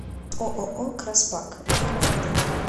ооо краспак время работы